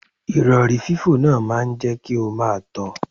Ìrọ̀rí fífò náà máa jẹ́ kí o máa tọ.